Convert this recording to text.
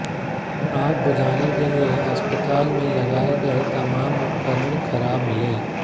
आग बुझाने के लिए अस्पताल में लगाए गए तमाम उपकरण खराब मिले